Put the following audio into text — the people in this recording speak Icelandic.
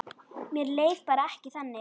Mér leið bara ekki þannig.